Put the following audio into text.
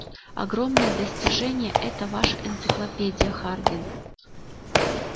огромное достижение эта ваша энциклопедия хардин